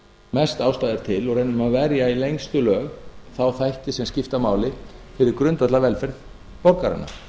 mest ástæða er til og í raun og veru verja í lengstu lög þá þætti sem skipta máli fyrir grundvallarvelferð borgaranna